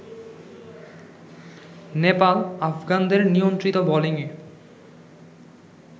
নেপাল আফগানদের নিয়ন্ত্রিত বোলিংয়ে